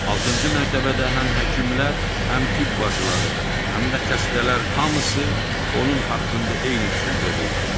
Altıncı mərtəbədə həm həkimlər, həm tibb bacıları, həm də xəstələr hamısı onun haqqında eyni düşüncədə idi.